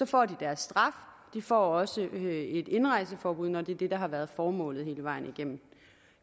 får de deres straf og de får også et indrejseforbud når det er det der har været formålet hele vejen igennem